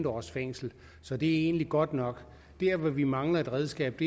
års fængsel så det er egentlig godt nok der hvor vi mangler et redskab